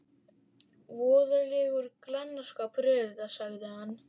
Voðalegur glannaskapur er þetta, sagði hann.